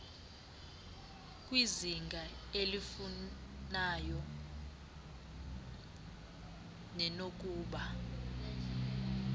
kwizinga elifanayo nenokuba